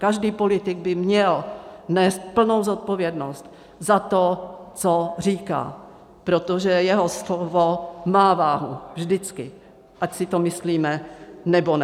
Každý politik by měl nést plnou zodpovědnost za to, co říká, protože jeho slovo má váhu vždycky, ať si to myslíme, nebo ne.